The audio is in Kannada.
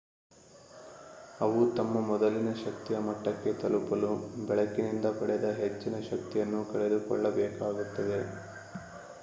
ಅವು ತಮ್ಮ ಮೊದಲಿನ ಶಕ್ತಿಯ ಮಟ್ಟಕ್ಕೆ ತಲುಪಲು ಬೆಳಕಿನಿಂದ ಪಡೆದ ಹೆಚ್ಚಿನ ಶಕ್ತಿಯನ್ನು ಕಳೆದುಕೊಳ್ಳಬೇಕಾಗುತ್ತದೆ